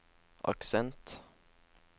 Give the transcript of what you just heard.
aksent